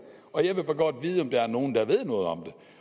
og jeg vil godt vide om der er nogen der ved noget om